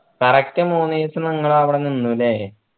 correct മൂന്ന് ദിവസം നിങ്ങൾ അവിടെ നിന്ന് അല്ലെ